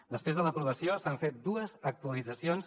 després de l’aprovació s’han fet dues actualitzacions